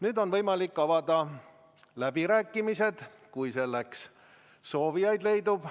Nüüd on võimalik avada läbirääkimised, kui selleks soovijaid leidub.